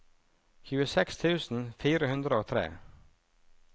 tjueseks tusen fire hundre og tre